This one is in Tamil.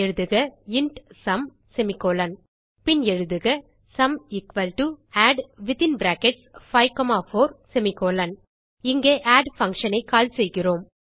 எழுதுக இன்ட் சும் பின் எழுதுக சும் add54 இங்கே ஆட் functionஐ கால் செய்கிறோம்